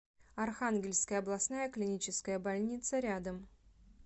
архангельская областная клиническая больница рядом